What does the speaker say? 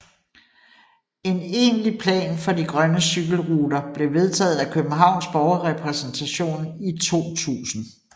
En egentlig plan for de grønne cykelruter blev vedtaget af Københavns Borgerrepræsentation i 2000